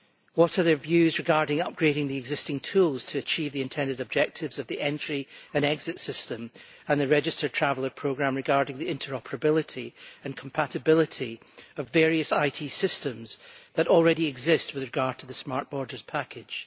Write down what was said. What are their views regarding upgrading the existing tools to achieve the intended objectives of the entry and exit system and the registered traveller programme, regarding the interoperability and compatibility of various IT systems that already exist with regard to the Smart Borders Package?